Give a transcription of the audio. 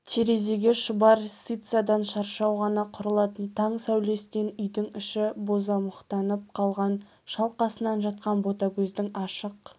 терезеге шұбар сицадан шаршау ғана құрылатын таң сәулесінен үйдің іші бозамықтанып қалған шалқасынан жатқан ботагөздің ашық